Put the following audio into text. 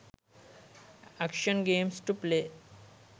action games to play